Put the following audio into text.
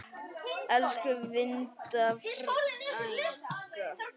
Elsku Linda frænka.